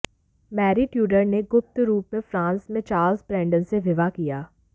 Mary Tudor ने गुप्त रूप से फ्रांस में चार्ल्स ब्रैंडन से विवाह किया